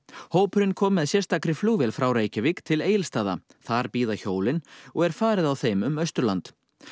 hópurinn kom með sérstakri flugvél frá Reykjavík til Egilsstaða þar bíða hjólin og er farið á þeim um Austurland